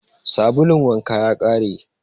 Sabulun wanka ya ƙare.